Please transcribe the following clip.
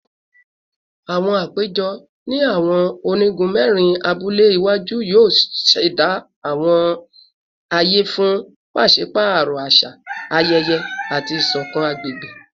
Awọn apejọ ni awọn onigun mẹrin abule iwaju yoo ṣẹda awọn aye fun paṣipaarọ aṣa, ayẹyẹ, ati iṣọkan agbegbe